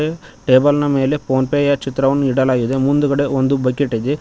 ಟೇಬಲ್ನ ಮೇಲೆ ಫೋನ್ ಪೇಯ ಚಿತ್ರವನ್ನು ಇಡಲಾಗಿದೆ ಮುಂದ್ಗಡೆ ಒಂದು ಬಕಿಟ್ ಇದೆ.